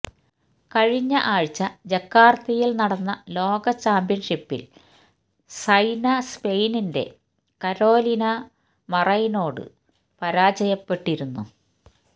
കഴിഞ്ഞ ആഴ്ച ജക്കാര്ത്തയില് നടന്ന ലോക ചാമ്പ്യന്ഷിപ്പില് സൈന സ്പെയിനിന്റെ കരോലിന മറൈനിനോട് പരാജയപ്പെട്ടിരുന്നു